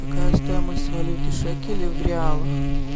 какая стоимость валюты шекелей в реалах